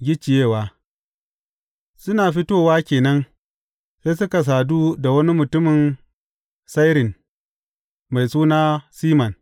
Gicciyewa Suna fitowa ke nan, sai suka sadu da wani mutumin Sairin, mai suna Siman.